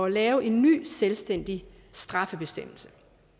at lave en ny selvstændig straffebestemmelse